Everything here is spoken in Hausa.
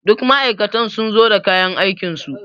Duk ma'aikatan sun zo da kayan aikinsu.